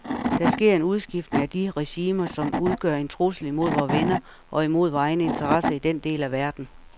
Der sker en udskiftning af de regimer, som udgør en trussel imod vore venner og imod vore egne interesser i den del af verden.